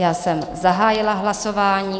Já jsem zahájila hlasování.